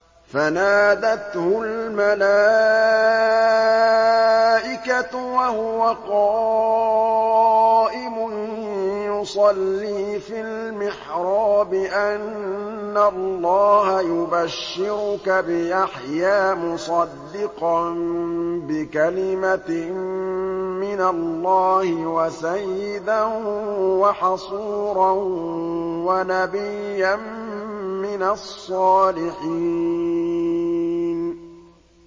فَنَادَتْهُ الْمَلَائِكَةُ وَهُوَ قَائِمٌ يُصَلِّي فِي الْمِحْرَابِ أَنَّ اللَّهَ يُبَشِّرُكَ بِيَحْيَىٰ مُصَدِّقًا بِكَلِمَةٍ مِّنَ اللَّهِ وَسَيِّدًا وَحَصُورًا وَنَبِيًّا مِّنَ الصَّالِحِينَ